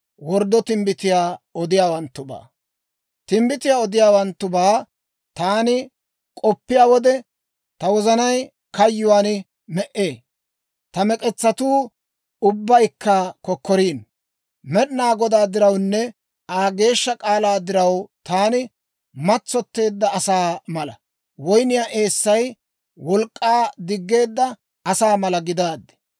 Timbbitiyaa odiyaawanttubaa taani k'oppiyaa wode, ta wozanay kayyuwaan me"ee; ta mek'etsatuu ubbaykka kokkoriino. Med'inaa Godaa dirawunne Aa geeshsha k'aalaa diraw, taani matsotteedda asaa mala, woyniyaa eessay wolk'k'aa diggeedda asaa mala gidaaddi.